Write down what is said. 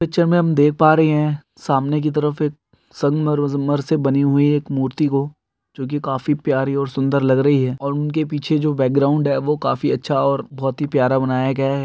जो हम देख पा रहे हे सामने की तरफ एक संमरोजम से बनी हुई एक मूर्ति को जो की काफी प्यारी और सुंदर लग रही हे और उनके पीछे जो बैकग्राउंड हे जो काफी अच्छा और बहुत प्यारा बानो कैहे .